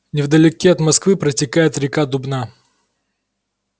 невдалеке от москвы протекает река дубна